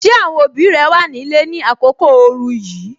Ṣé àwọn òbí rẹ wà ní ilé ni àkókò ooru yìí?